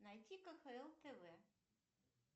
найти кхл тв